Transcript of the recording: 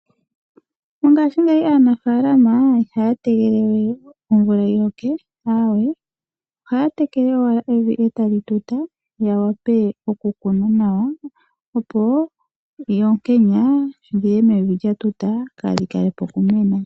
Mongashingeyi aanafaalama ihaya tegelelewe omvula yiloke. Ohaya tekele owala evi etali tuta ya vule okukuna nawa opo oonkenya dhiye mevi lyatuta kaadhi kalepo okumena.